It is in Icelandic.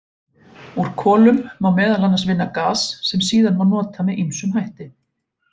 Úr kolum má meðal annars vinna gas sem síðan má nota með ýmsum hætti.